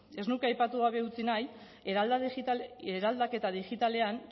ez nuke aipatu gabe utzi nahi eraldaketa digitalean